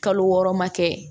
Kalo wɔɔrɔ ma kɛ